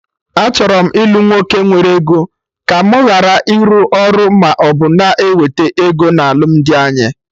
Achọrọ m ilu nwoke nwere ego, ka mụ gharị ịrụ ọrụ maọbụ na-ewete ego na alụmdi anyị